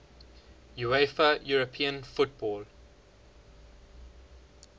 uefa european football